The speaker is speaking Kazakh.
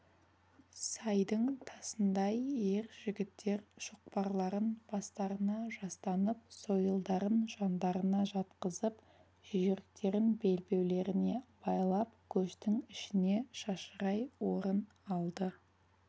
сайдың тасындай ер жігіттер шоқпарларын бастарына жастанып сойылдарын жандарына жатқызып жүйріктерін белбеулеріне байлап көштің ішіне шашырай орын алды